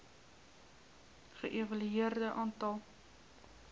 ge evalueer aantal